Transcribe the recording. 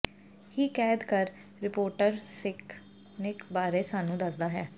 ਹੀ ਕੈਦ ਕਰ ਰਿਪੋਰਟਰ ਿਾਸ ਨਿਕ ਬਾਰੇ ਸਾਨੂੰ ਦੱਸਦਾ ਹੈ